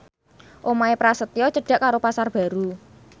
omahe Prasetyo cedhak karo Pasar Baru